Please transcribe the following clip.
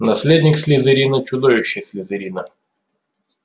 наследник слизерина чудовище слизерина